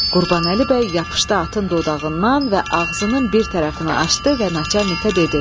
Qurbanəli bəy yapışdı atın dodağından və ağzının bir tərəfini açdı və naçalikə dedi.